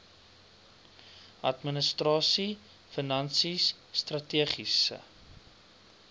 administrasie finansies strategiese